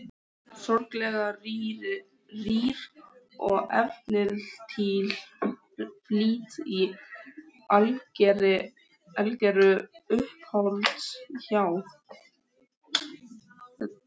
Sorglega rýr og efnislítil flík í algeru uppáhaldi hjá